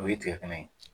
O ye tigɛ kɛnɛ ye